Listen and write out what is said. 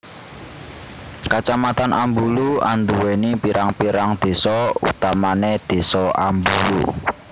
Kacamatan Ambulu anduwèni pirang pirang désa utamane désa Ambulu